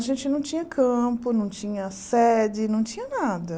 A gente não tinha campo, não tinha sede, não tinha nada.